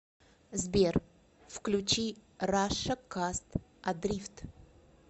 сбер включи раша каст адрифт